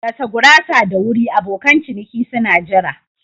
Gasa gurasar da wuri abokan ciniki suna jira.